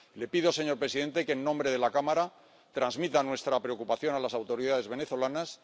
Le pido, señor presidente, que, en nombre de la Cámara, transmita nuestra preocupación a las autoridades venezolanas.